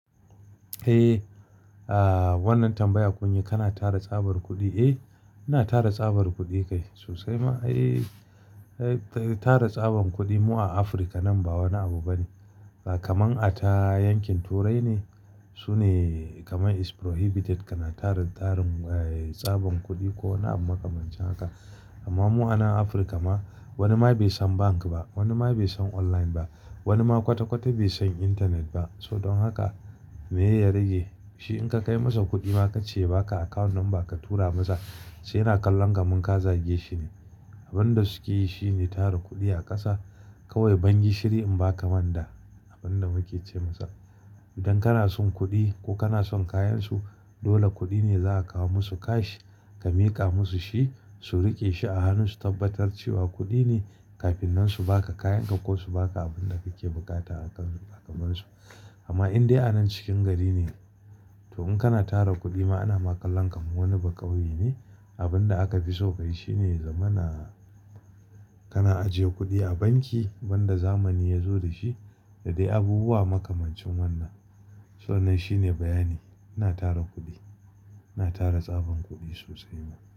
Eh, ah wannan tambaya kun yi kana tara tsabar kuɗi, eh ina tara tsabar kuɗi kai sosai ma ai tara tsaban kuɗi mu a Afirka nan ba wani abu bane. Kamar a ta yankin Turai ne sune kamar is prohibited kana taran, tarin tsaban kuɗi ko wani abu makamancin haka. Amma mu a nan Afirka ma wani ma bai san bank ba, wani ma bai san online ba, wani ma kwata kwata bai san intanet ba. So don haka me ya rage shi in ka kai masa kuɗi ma ka ce ba ka account number ka tura masa sai yana kallon kamin ka zage shi ne. Abin da suke yi shine tara kuɗi a ƙasa, kawai ban gishiri in ba ka manda abin da muke ce masa. Idan kana son kuɗi ko kana son kayansu dole kuɗi ne za a kawo musu cash ka miƙa musu shi, su riƙe shi a hannu su tabbatar cewa kuɗi ne kafin nan su ba ka kayanka ko su ba ka abin da kake buƙata a kan kamansu. Amma in dai a nan cikin gari ne, to in kana tara kuɗi ma ana ma kallon kaman wani baƙauye ne. Abin da aka fi so kai shi ne ya zamana, kana ajiye kuɗi a banki wanda zamani ya zo da shi da dai abubuwa makamancin wannan. So wannan shine bayani, ina tara kuɗi, ina tara tsaban kuɗi sosai ma.